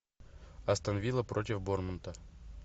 астон вилла против борнмута